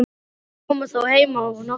Þeir koma þó heim á nóttunni.